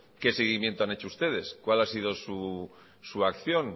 qué seguimiento han hecho ustedes cuál ha sido su acción